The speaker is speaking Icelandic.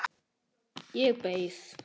Ég beið.